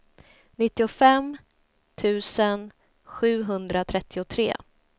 nittiofem tusen sjuhundratrettiotre